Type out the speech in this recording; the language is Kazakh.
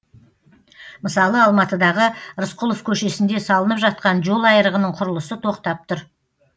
мысалы алматыдағы рысқұлов көшесінде салынып жатқан жол айрығының құрылысы тоқтап тұр